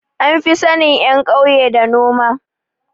An fi sanin ƴan kauya da noma